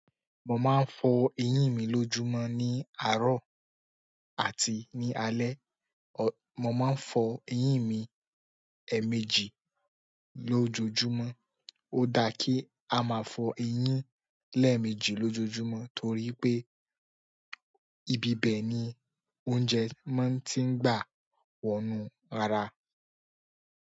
Mo ma n fo eyin mi lójúmọ́ ni àárọ̀ àti ni alẹ́. Mo máa ń fọ eyín mi èèmejì lójoojúmọ́. Ó dá kí a máa fọ eyín lẹ́ẹ̀mejì lójoojúmọ́ torí pé ìbíbẹ̀ ni oúnjẹ máa ń tí ń gbà wọnu ara.